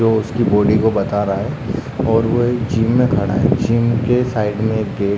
जो उसकी बॉडी को बता रहा है और वो एक जिम में खड़ा है जिम के साइड में एक गेट --